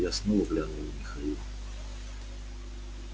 я снова глянул на михаила